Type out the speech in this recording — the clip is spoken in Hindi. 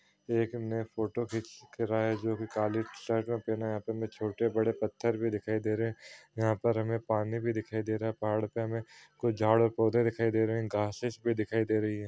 एक ने फोटो खिंच क रहा है जो कि काली शर्ट ने पहना है यहाँ पर हमे छोटे-बड़े पत्थर भी दिखाई दे रहे यहाँ पर हमे पानी भी दिखाई दे रहा है पहाड़ पे हमे कुछ झाड़ और पौधे भी दिखाई दे रहे ग्रासेस भी दिखाई दे रही है।